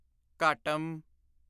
ਘਾਟਮ